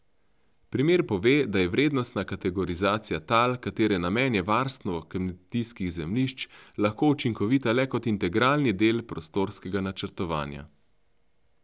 Primer pove, da je vrednostna kategorizacija tal, katere namen je varstvo kmetijskih zemljišč, lahko učinkovita le kot integralni del prostorskega načrtovanja.